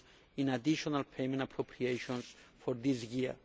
in additional payment appropriations for this year.